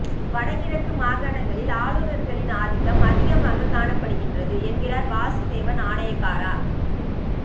வடக்கு கிழக்கு மாகாணங்களில் ஆளுநர்களின் ஆதிக்கம் அதிகமாக காணப்படுகின்றது என்கிறார் வாசுதேவ நாணயக்கார